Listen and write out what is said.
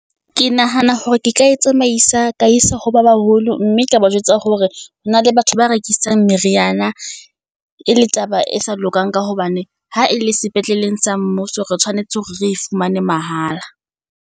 Ke nahana hore ke ka e tsamaisa ka isa ho ba baholo, mme ka ba jwetsa hore hona le batho ba rekisang meriana e le taba e sa lokang. Ka hobane ha e le sepetleleng sa mmuso, re tshwanetse hore re fumane mahala.